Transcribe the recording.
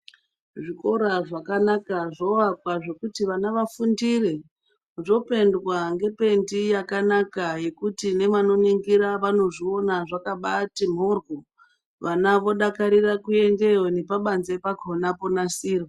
Zvikora zvakanaka zvoakwa zvokuti vana vafundire zvopendwa ngependi yakanaka yekuti nevanoningira vanozviona zvakatimborwo vana vodakarira kuendeyo nepabanze pakona ponasirwa.